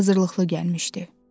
Qoca hazırlıqlı gəlmişdi.